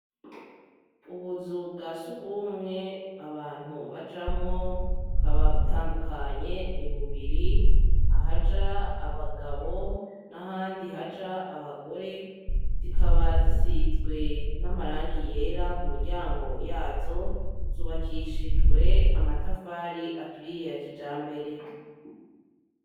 Ubuzu bwa s'urw'umwe abantu bajamwo, bukaba butandukanye, ni bubiri ahaja abagabo n'ahandi haja abagore, zikaba zisizwe n'amarangi yera ku miryango yazo, zubakishijwe amatafari aturiye ya kijambere.